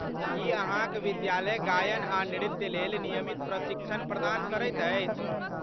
की अहाँक विद्यालय गायन आ नृत्यलेल नियमित प्रशिक्षण प्रदान करैत अछि?